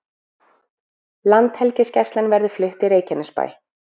Landhelgisgæslan verði flutt í Reykjanesbæ